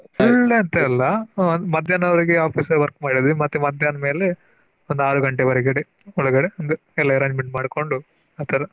Full day ಅಂತಲ್ಲ ಮಧ್ಯಾನದ್ ವರಗೆ Office work ಮಾಡಿದ್ವಿ ಮತ್ತೆ ಮದ್ಯಾನ್ಮೇಲೆ ಒಂದ್ ಅರು ಗಂಟೆ ಒಳಗಡೆ ಒಂದು ಎಲ್ಲ Arrangement ಮಾಡ್ಕೊಂಡು ಆತರ.